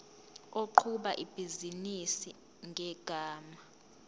oqhuba ibhizinisi ngegama